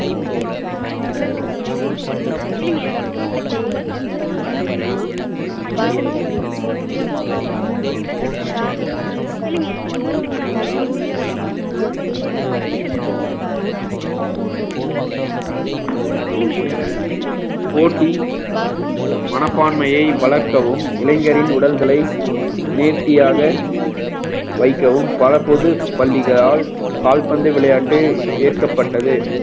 நேரமில்லை போட்டி மனப்பான்மையை வளர்க்கவும் இளைஞரின் உடல்களை நேர்த்தியாக வைக்கவும் பல பொதுப் பள்ளிகளால் கால்பந்து விளையாட்டு ஏற்கப்பட்டது